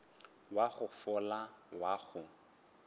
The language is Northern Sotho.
wa go fola wa go